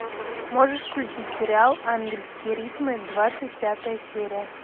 можешь включить сериал ангельские ритмы двадцать пятая серия